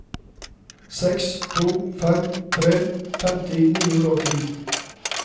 seks to fem tre femti ni hundre og ti